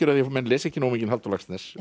af að menn lesi ekki nógu mikinn Halldór Laxness